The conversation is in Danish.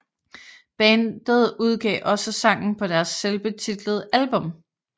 Bandet udgav også sangen på deres selvbetitlede album